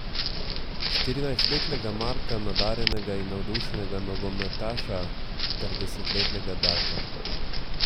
Štirinajstletnega Marka, nadarjenega in navdušenega nogometaša, ter desetletnega Darka.